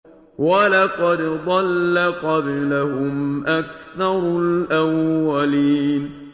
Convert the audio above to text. وَلَقَدْ ضَلَّ قَبْلَهُمْ أَكْثَرُ الْأَوَّلِينَ